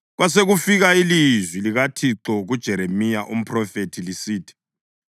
Kwasekufika ilizwi likaThixo kuJeremiya umphrofethi lisithi: